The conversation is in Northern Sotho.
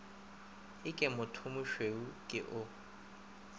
e ke mothomošweu ke o